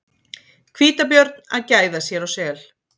Hvítabjörn að gæða sér á sel.